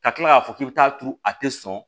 Ka tila k'a fɔ k'i bɛ taa turu a tɛ sɔn